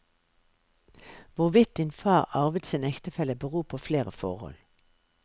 Hvorvidt din far arvet sin ektefelle, beror på flere forhold.